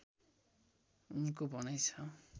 उनको भनाइ छ